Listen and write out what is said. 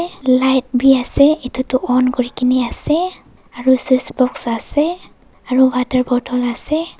Light beh ase etutu on kure kena ase aro swes box ase aro water bottle ase.